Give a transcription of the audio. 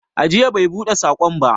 Ajiya bai buɗe saƙona ba.